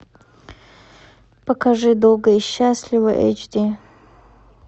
покажи долго и счастливо эйч ди